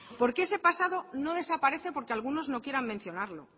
porque ese pasado no desaparece porque algunos no quieran mencionarlo